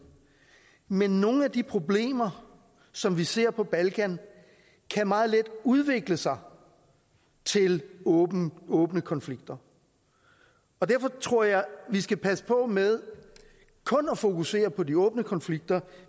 men nogle af de problemer som vi ser på balkan kan meget let udvikle sig til åbne åbne konflikter og derfor tror jeg vi skal passe på med kun at fokusere på de åbne konflikter